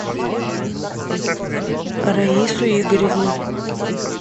раису игоревну